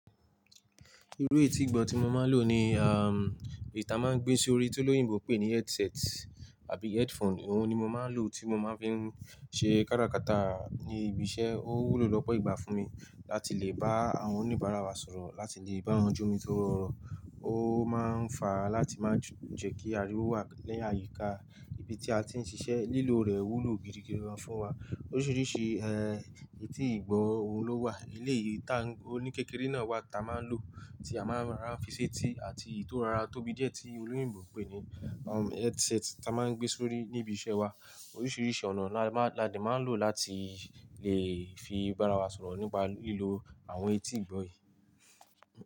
Irú etí ìgbọ́ tí mo máa ń lò ni, um, èyí ta máa ń gbé sórí, tí olóyìnbo ń pè ní headset àbí headphone. Òun ni mo máa ń lò tí mo máa ń fi ń ṣe kára kata ní ibi iṣẹ́. Ó wúlò lọ́pọ̀ ìgbà fún mi láti lè bá àwọn oníbàárà wa sọ̀rọ̀, láti lè báwon jomi tórọ oro. Ó máa ń fa láti máa jù-- jẹ́ kí ariwo wà lẹ́yìn àyíká ibi tí a ti ń ṣiṣẹ́. Lílo rẹ̀ wúlò gidigidi gan fún wa. Oríṣiríṣi, ẹ, etí ìgbọ́, òun ló wà. Eleyi tan oní kékeré náà wà tí a máa ń lò, tí a máa ń rora fi sé tì àti eyì tọ́ rora tóbí díẹ̀ tí olóyìnbo ń pè ní, um, headset tí a máa ń gbé sórí níbi iṣẹ́ wa. Oríṣiríṣi ọ̀nà ni a máa-- ni a máa lò láti lè fi bá ara wa sọ̀rọ̀ nípa lílo àwọn etí ìgbọ́ yìí.